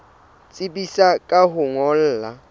tsebisa ka ho o ngolla